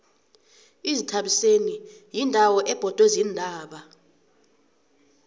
izithabiseni yindawo ebhodwe ziintaba